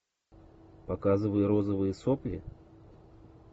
показывай розовые сопли